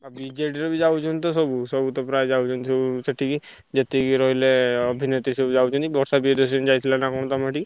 ଆଉ BJD ର ବି ଯାଉଛନ୍ତି ତ ସବୁ ସବୁ ତ ପ୍ରାୟ ଯାଉଛନ୍ତି ସବୁ ସେଠିକି ଯେତିକି ରହିଲେ ଅଭିନେତ୍ରୀ ସବୁ ଯାଉଛନ୍ତି। ବର୍ଷା ପ୍ରିୟଦର୍ଶିନୀ ଯାଇଥିଲା ନା କଣ ତମର ସେଠିକି?